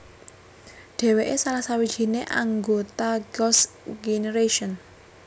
Dheweke salah sawijine anggota Girl s Generation